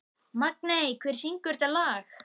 Magney, hver syngur þetta lag?